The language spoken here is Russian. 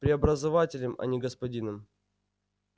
преобразователем а не господином